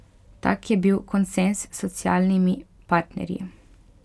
Tak je bil konsenz s socialnimi partnerji.